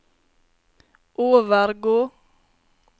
overgå